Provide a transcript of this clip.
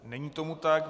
Není tomu tak,